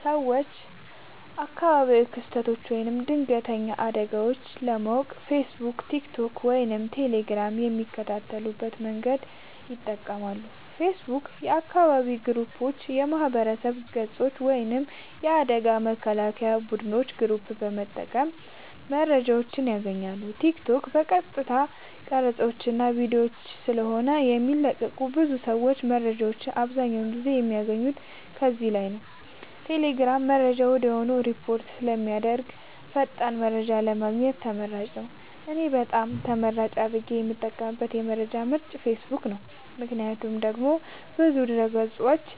ሰወች አካባቢያዊ ክስተቶች ወይም ድንገተኛ አደጋወች ለማወቅ ፌሰቡክ ቲክቶክ ወይም ቴሌግራም በሚከተሉት መንገዶች ይጠቀማሉ ፌሰቡክ :- የአካባቢ ግሩፖች የማህበረሰብ ገፆች ወይም የአደጋ መከላከያ ቡድኖች ግሩፕ በመጠቀም መረጃወችን ያገኛሉ ቲክቶክ :- የቀጥታ ቀረፃወች እና ቪዲዮወች ስለሆነ የሚለቀቁበት ብዙ ሰወች መረጃወችን አብዛኛውን ጊዜ የሚያገኙት ከዚህ ላይ ነዉ ቴሌግራም :-መረጃ ወድያውኑ ሪፖርት ስለሚደረግበት ፈጣን መረጃን ለማግኘት ተመራጭ ነዉ። እኔ በጣም ተመራጭ አድርጌ የምጠቀምበት የመረጃ ምንጭ ፌሰቡክ ነዉ ምክንያቱም ደግሞ ብዙ ድህረ ገፆችን